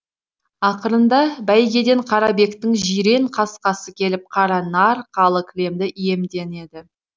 ақырында бәйгеден қарабектің жирен қасқасы келіп қара нар қалы кілемді иемденеді